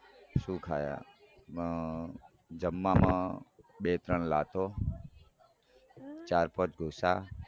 શું ખયા અઅઅ જમવામાં બે લાતો ચાર પાંચ ઘુસા